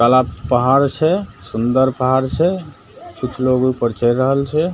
तालाब पहाड़ छै सुन्दर पहाड़ छै कुछ लोग उ पर चढ़ रहल छै ।